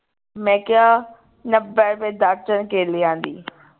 ਮੈਂ ਕਿਹਾ ਨੱਬੇ ਰੁਪਏ ਦਰਜਨ ਕੇਲਿਆਂ ਦੀ